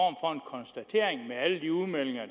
konstatering med alle de udmeldinger